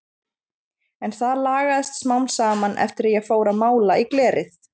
En það lagaðist smám saman eftir að ég fór að mála í glerið.